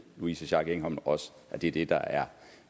louise schack elholm også det er det der er